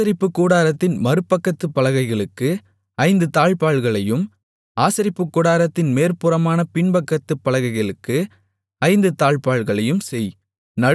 ஆசரிப்பு கூடாரத்தின் மறுபக்கத்துப் பலகைகளுக்கு ஐந்து தாழ்ப்பாள்களையும் ஆசரிப்பு கூடாரத்தின் மேற்புறமான பின்பக்கத்துப் பலகைகளுக்கு ஐந்து தாழ்ப்பாள்களையும் செய்